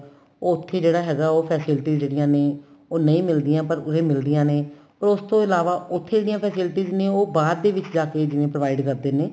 ਉੱਥੇ ਜਿਹੜਾ ਹੈਗਾ ਉਹ facilities ਜਿਹੜੀਆਂ ਨੇ ਨਹੀਂ ਮਿਲਦੀਆਂ ਪਰ ਉਰੇ ਮਿਲਦੀਆਂ ਨੇ ਪਰ ਉਸ ਤੋਂ ਇਲਾਵਾ ਉੱਥੇ ਜਿਹੜੀਆਂ faculties ਨੇ ਉਹ ਬਾਅਦ ਦੇ ਵਿੱਚ ਜਾ ਕੇ ਜਿਵੇਂ provide ਕਰਦੇ ਨੇ